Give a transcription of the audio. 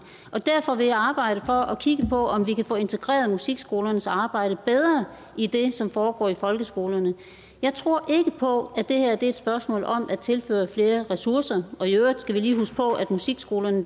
og derfor vil jeg arbejde for og kigge på om vi kan få integreret musikskolernes arbejde bedre i det som foregår i folkeskolerne jeg tror ikke på at det her er et spørgsmål om at tilføre flere ressourcer og i øvrigt skal vi lige huske på at musikskolerne